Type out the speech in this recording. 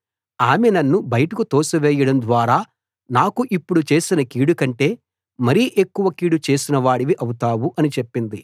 ఆమె నన్ను బయటకు తోసివేయడం ద్వారా నాకు ఇప్పుడు చేసిన కీడు కంటే మరి ఎక్కువ కీడు చేసినవాడివి అవుతావు అని చెప్పింది